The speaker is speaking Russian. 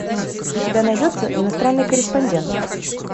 у тебя найдется иностранный корреспондент